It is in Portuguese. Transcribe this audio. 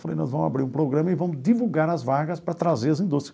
Falei, nós vamos abrir um programa e vamos divulgar as vagas para trazer as indústrias.